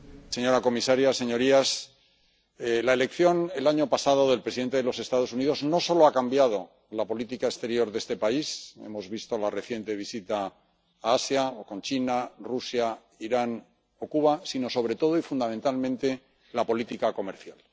Señor presidente, señora comisaria, señorías, la elección el año pasado del presidente de los Estados Unidos no solo ha cambiado la política exterior de este país ―hemos visto la reciente visita a Asia, o con China, Rusia, Irán o Cuba―, sino sobre todo y fundamentalmente la política comercial.